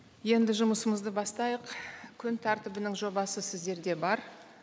енді жұмысымызды бастайық күн тәртібінің жобасы сіздерде бар